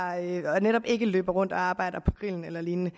og netop ikke løber rundt og arbejder på grillen eller lignende